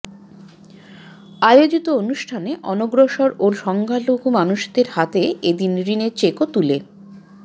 আয়োজিত অনুষ্ঠানে অনগ্রসর ও সংখ্যালঘু মানুষদের হাতে এদিন ঋণের চেকও তুলে